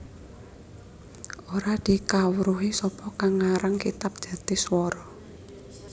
Ora dikawruhi sapa kang ngarang kitab Jatiswara